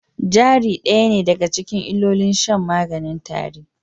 Jari ɗaya ne daga cikin illolin shan maganin tare